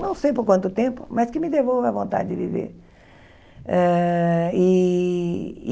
Não sei por quanto tempo, mas que me devolva a vontade de viver. Eh e